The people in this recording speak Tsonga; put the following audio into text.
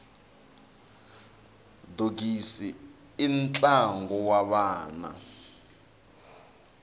dogisi i ntlangu wa vana